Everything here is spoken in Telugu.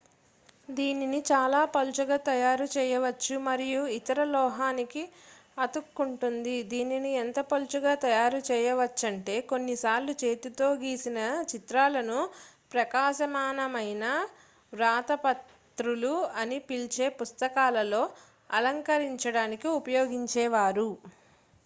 "దీనిని చాలా పలుచగా తయారు చేయవచ్చు మరియు ఇతర లోహానికి అతుక్కుంటుంది . దీనిని ఎంత పలుచగా తయారు చేయవచ్చంటే కొన్నిసార్లు చేతితో గీసిన చిత్రాలను "ప్రకాశమాన మైన వ్రాతప్రతులు" అని పిలిచే పుస్తకాలలో అలంకరించడానికి ఉపయోగించేవారు.